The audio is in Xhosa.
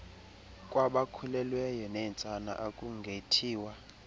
kwabakhulelweyo neentsana akungethiwa